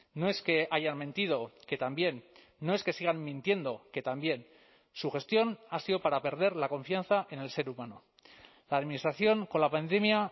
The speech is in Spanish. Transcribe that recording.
no es que hayan mentido que también no es que sigan mintiendo que también su gestión ha sido para perder la confianza en el ser humano la administración con la pandemia